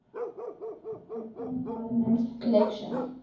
european parliament election